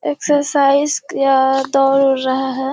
Exercise या दौड़ उड़ रहे हैं।